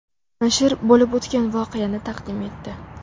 Nashr bo‘lib o‘tgan voqeani taqdim etdi.